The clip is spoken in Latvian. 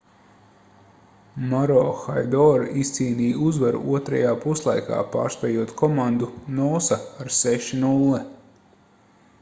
maroochydore izcīnīja uzvaru otrajā puslaikā pārspējot komandu noosa ar 6:0